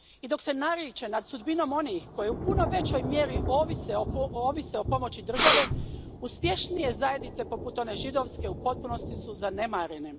I dok se nariče nad sudbinom onih koji u puno većoj mjeri ovise o pomoći države, uspješnije zajednice, poput one židovske, u potpunosti su zanemarene.